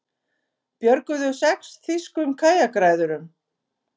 Björguðu sex þýskum kajakræðurum